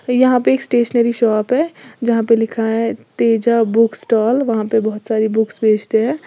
यहां पे एक स्टेशनरी शॉप है जहां पे लिखा है तेजा बुक स्टॉल वहां पर बहुत सारी बुक्स बेचते हैं।